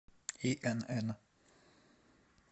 инн